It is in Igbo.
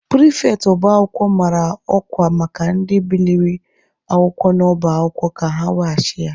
Pịrịfetị ọba akwụkwọ mara ọkwa maka ndị biliri akwụkwọ n'ọba akwụkwọ ka ha weghachi ya.